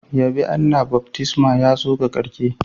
Yabe Allah, baftisman ya zo ga karshe.